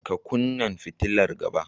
Ka kunnan fitilar gaba.